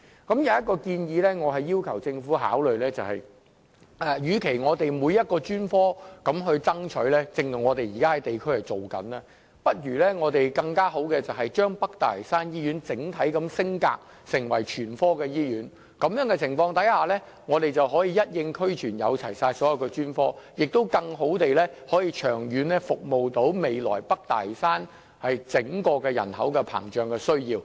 我要求政府考慮，與其我們每一個專科都要爭取——這也是我們在地區正進行的工作——倒不如將北大嶼山醫院整體升格成為全科醫院，那麼北大嶼山醫院便可以一應俱全，能夠提供所有專科，從而更好地長遠服務未來北大嶼山膨脹人口的需要。